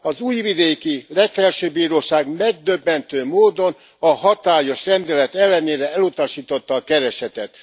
Az újvidéki legfelsőbb bíróság megdöbbentő módon a hatályos rendelet ellenére elutasította a keresetet.